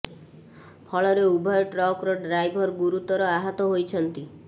ଫଳରେ ଉଭୟ ଟ୍ରକ୍ ର ଡ୍ରାଇଭର ଗୁରୁତର ଆହତ ହୋଇଛନ୍ତି